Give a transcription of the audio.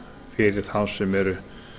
fyrir þá sem eru